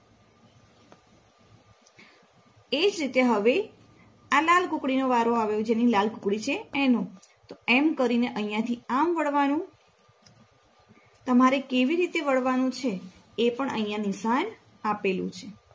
એજ રીતે હવે આ લાલ કુકડીનો વારો આવ્યો જેની લાલ કૂકડી છે એનો તો એમ કરીને અહિયાથી આમ વળવાનું તમારે કેવી રીતે વળવાનુંએ પણ અહિયાં નિશાન આપેલું છે.